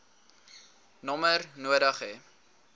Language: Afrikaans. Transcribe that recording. nommer nodig hê